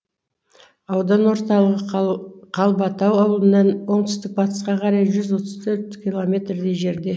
аудан орталығы қалбатау ауылынан оңтүстік батысқа қарай жүз отыз төрт километрдей жерде